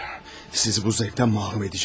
Hayır, sizi bu zevkdən məhrum edəcəm!